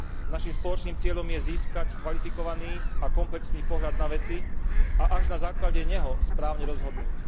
Naším spoločným cieľom je získať kvalifikovaný a komplexný pohľad na veci a až na základe neho správne rozhodnúť.